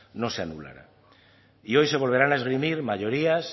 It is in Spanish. no se anulara y hoy se volverán a esgrimir mayorías